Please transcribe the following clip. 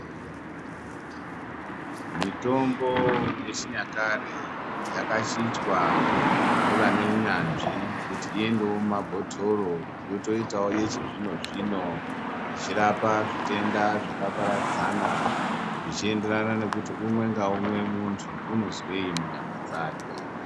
Mitombo yechinyakare yakachinjwa ngevane unyanzvi kuti iendewo mumabhotoro yotoitawo yechizvino-zvino. Ichirapa zvitenda zvakaparadzana zvichienderana nekuti umwe ngaumwe munthu unozwei munyama dzake?